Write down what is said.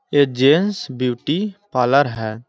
ये gents beauty parlour है।